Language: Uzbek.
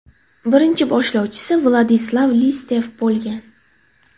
Birinchi boshlovchisi Vladislav Listyev bo‘lgan.